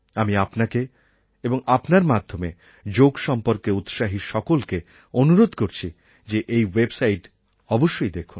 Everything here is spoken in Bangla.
আমি আপনাকে এবং আপনার মাধ্যমে যোগ সম্পর্কে উৎসাহী সবাইকে অনুরোধ করছি যে এই ওয়েবসাইট অবশ্যই দেখুন